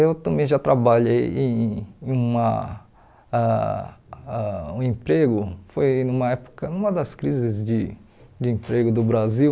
Eu também já trabalhei em em uma ãh ãh um emprego, foi numa época, numa das crises de de emprego do Brasil,